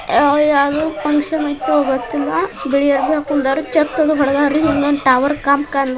ಯಾವುದೊ ಫಂಕ್ಷನ್ ಗೊತ್ತಿಲ್ಲ್ಲ ಬಿಳಿ ಅರಿವೇ ಹಾಕಿಕೊಂಡಿದ್ದಾರೆಛತ್ತ ಹೊಡದಾರ್ರಿ . ಹಿಂದೆ ಒಂದು ಟವರ್ ಇದೆ .